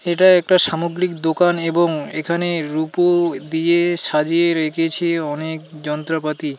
এটা একটা সামগ্রিক দোকান এবং এখানে রূপো দিয়ে সাজিয়ে রেখেছে অনেক যন্ত্রপাতি।